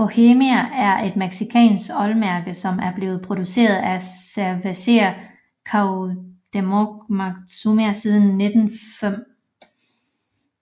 Bohemia er et mexicansk ølmærke som er blevet produceret af Cervecería Cuauhtémoc Moctezuma siden 1905